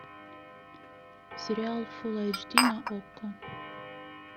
сериал фулл айч ди на окко